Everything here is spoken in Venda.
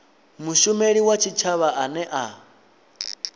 mushumeli wa tshitshavha ane a